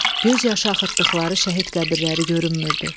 göz yaşı axıtdıqları şəhid qəbirləri görünmürdü.